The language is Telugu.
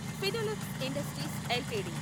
Finolex industries LTD